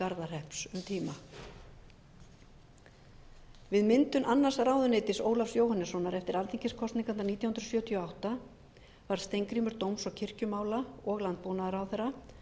garðahrepps um tíma við myndun annars ráðuneytis ólafs jóhannessonar eftir alþingiskosningarnar nítján hundruð sjötíu og átta varð steingrímur dóms og kirkjumála og landbúnaðarráðherra